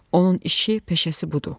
Onun işi, peşəsi budur.